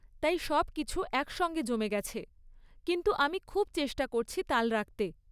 তাই সবকিছু একসঙ্গে জমে গেছে। কিন্তু আমি খুব চেষ্টা করছি তাল রাখতে।